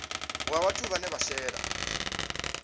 wa vhathu vhane vha shela